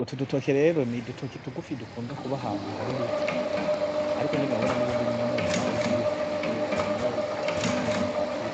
Utu dutoki rero n'udutoki tugufi dukunda kuba ahantu hari ibiti, ariko nyene urabona nubundi n'umurima urimwo n'ibiharage, harimwo igiti kimwe c'umwubati,